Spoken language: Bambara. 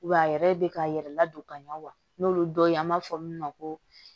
Wa a yɛrɛ bɛ ka yɛrɛ ladon ka ɲɛ wa n'olu dɔ ye an b'a fɔ min ma ko